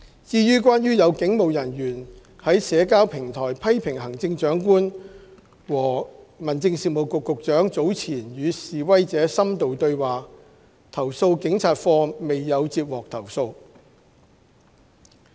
至於關於有警務人員在社交平台批評行政長官和民政事務局局長早前與示威者深度對話，投訴警察課未有接獲投訴。